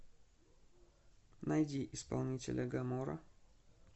найди исполнителя гамора